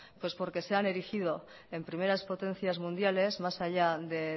pues porque se han erigido en primeras potencias mundiales más allá de